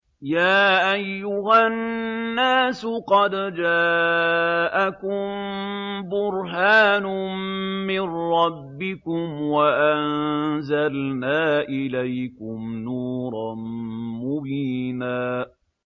يَا أَيُّهَا النَّاسُ قَدْ جَاءَكُم بُرْهَانٌ مِّن رَّبِّكُمْ وَأَنزَلْنَا إِلَيْكُمْ نُورًا مُّبِينًا